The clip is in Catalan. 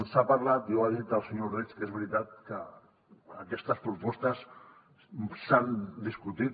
s’ha parlat i ho ha dit el senyor ordeig que és veritat que aquestes propostes s’han discutit